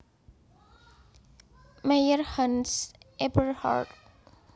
Mayer Hans Eberhard